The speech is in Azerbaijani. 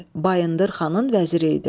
Bayındır xanın vəziri idi.